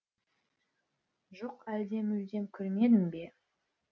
жоқ әлде мүлдем көрмедім бе